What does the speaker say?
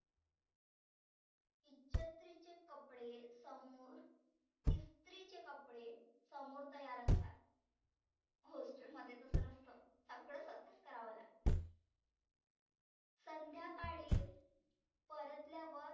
इचत्रीचे कपडे समोर इस्त्रीचे कपडे समोर तयार असतात. hostel मध्ये तसं नसत. सगळ स्वतःच करावा लागतं. संध्याकाळी परतल्यावर